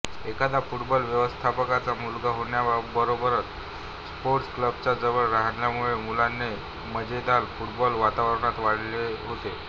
एखाद्या फुटबॉल व्यवस्थापकाचा मुलगा होण्याबरोबरच स्पोर्ट्स क्लबचा जवळ राहण्यामुळे मुलाने माजेदला फुटबॉल वातावरणात वाढवले होते